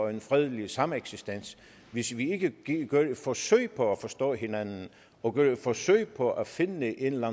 en fredelig sameksistens hvis vi ikke gør et forsøg på at forstå hinanden og gør et forsøg på at finde en eller